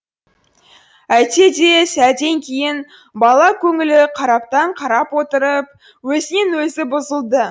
әйтсе де сәлден кейін бала көңілі қараптан қарап отырып өзінен өзі бұзылды